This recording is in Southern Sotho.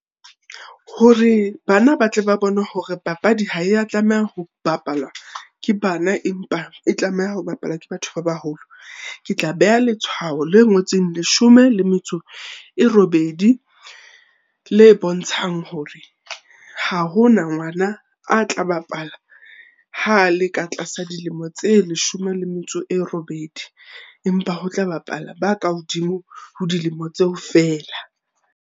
Hore bana ba tle ba bone hore papadi ha ya tlameha ho bapalwa ke bana empa e tlameha ho bapalwa ke batho ba baholo, ke tla beha letshwao le ngotseng leshome le metso e robedi le bontshang hore ha hona ngwana a tla bapala ha a le ka tlasa dilemo tse leshome le metso e robedi. Empa ho tla bapala ba ka hodimo ho dilemo tseo feela.